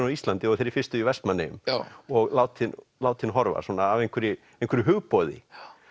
á Íslandi og þeirri fyrstu í Vestmannaeyjum og látinn látinn horfa svona af einhverju einhverju hugboði